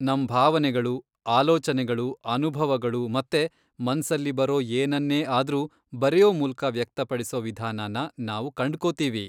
ನಮ್ ಭಾವನೆಗಳು, ಆಲೋಚನೆಗಳು, ಅನುಭವಗಳು ಮತ್ತೆ ಮನ್ಸಲ್ಲಿ ಬರೋ ಏನನ್ನೇ ಆದ್ರೂ ಬರೆಯೋ ಮೂಲಕ ವ್ಯಕ್ತಪಡಿಸೋ ವಿಧಾನನ ನಾವು ಕಂಡ್ಕೋತೀವಿ.